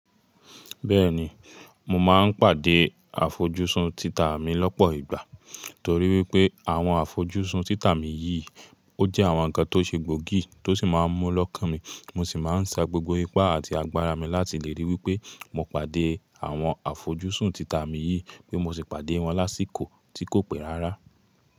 Bẹ́ẹ̀ni, mo máa ń pàdé àfojúsùn títà mi lọ́pọ̀ ìgbà, torí wípé àwọn àfojúsùn títà mi yìí ó jẹ́ àwọn ǹkan tó ṣe gbòógì tó sì máa ń mú lọ́kàn mi, mo sì máa ń sa gbogbo ipá àti agbára mi láti lè ríi wípé mo pàdé àwọn àfojúsùn títà mi yìí wípé mo sì pàdé wọn lásìkò tí kò pé rárá.